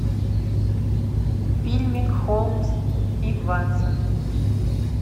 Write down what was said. фильмик холмс и ватсон